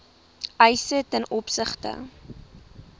eise ten opsigte